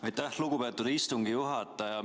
Aitäh, lugupeetud istungi juhataja!